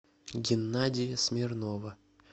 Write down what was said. геннадия смирнова